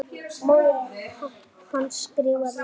Móðir hans skrifar líka.